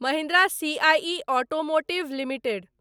Mahindra CIE automotive limited